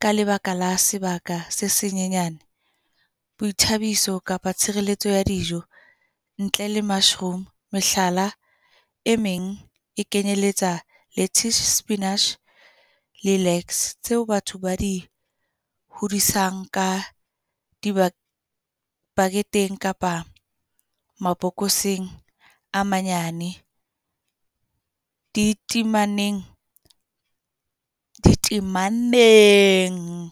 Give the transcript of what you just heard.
ka lebaka la sebaka se senyenyane. Boithabiso kapa tshireletso ya dijo, ntle le mushroom. Mehlala e meng e kenyeletsa lettuce, spinach, le . Tseo batho ba di hodisang ka di-bucket-eng kapa mabokoseng a manyane, di temaneng.